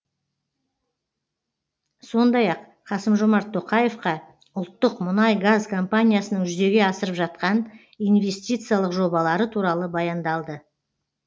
сондай ақ қасым жомарт тоқаевқа ұлттық мұнай газ компаниясының жүзеге асырып жатқан инвестициялық жобалары туралы баяндалды